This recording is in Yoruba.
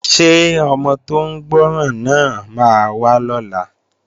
Ṣé ọmọ tó ń gbọ́ràn náà máa wá lọ́la?